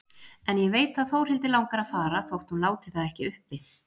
En ég veit að Þórhildi langar að fara þótt hún láti það ekki uppi.